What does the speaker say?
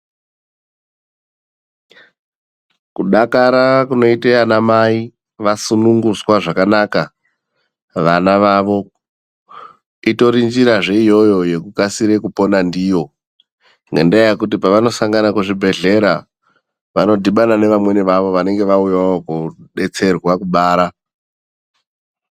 Kudakara kunoita ana mai vasunungutswa zvakanaka vana vavo. Itori njirazve iyoyo yekukasire kupona ndiyo nendaa yekuti pawanosangana kuzvibhedhlera vanodhibana nevamweni vavo vanenge vauyawo kobetserwa kubara.